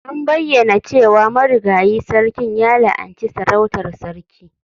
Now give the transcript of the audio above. An bayyana cewa marigayi sarkin ya la'anci sarautar Sarki.